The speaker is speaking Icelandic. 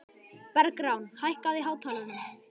Bergrán, hækkaðu í hátalaranum.